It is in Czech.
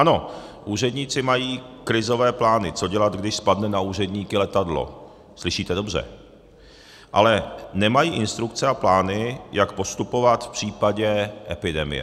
Ano, úředníci mají krizové plány, co dělat, když spadne na úředníky letadlo, slyšíte dobře, ale nemají instrukce a plány, jak postupovat v případě epidemie.